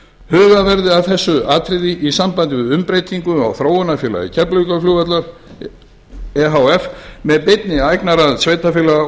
að þessu atriði í sambandi við umbreytingu á þróunarfélagi keflavíkurflugvallar e h f með beinni eignaraðild sveitarfélaga